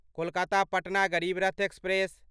Kolkata Patna Garib Rath express